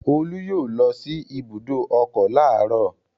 Olú yóò lọ sí ibùdó ọkọ̀ láàárọ̀.